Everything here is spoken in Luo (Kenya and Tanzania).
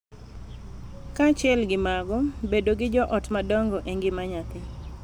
Kaachiel gi mago, bedo gi jo ot madongo e ngima nyathi